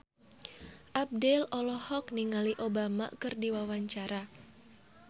Abdel olohok ningali Obama keur diwawancara